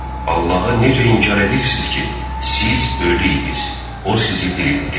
Allahı necə inkar edirsiniz ki, siz ölü idiniz, o sizi diriltdi.